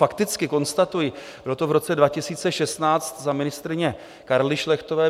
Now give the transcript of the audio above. Fakticky konstatuji, bylo to v roce 2016 za ministryně Karly Šlechtové.